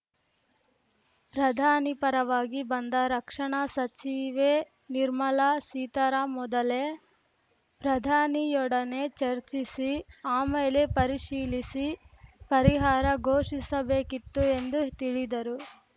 ಪ್ರಧಾನಿ ಪರವಾಗಿ ಬಂದ ರಕ್ಷಣಾ ಸಚಿವೆ ನಿರ್ಮಲಾ ಸೀತಾರಾಮ್‌ ಮೊದಲೇ ಪ್ರಧಾನಿಯೊಡನೆ ಚರ್ಚಿಸಿ ಆಮೇಲೆ ಪರಿಶೀಲಿಸಿ ಪರಿಹಾರ ಘೋಷಿಸಬೇಕಿತ್ತು ಎಂದು ತಿಳಿದರು